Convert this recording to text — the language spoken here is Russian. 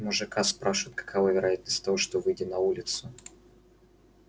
мужика спрашивают какова вероятность того что выйдя на улицу